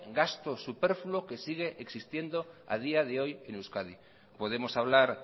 gasto superfluo que sigue existiendo a día de hoy en euskadi podemos hablar